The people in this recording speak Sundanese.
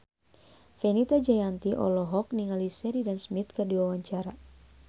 Fenita Jayanti olohok ningali Sheridan Smith keur diwawancara